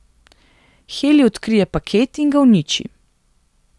Heli odkrije paket in ga uniči.